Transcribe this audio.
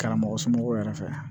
Karamɔgɔ somɔgɔw yɛrɛ fɛ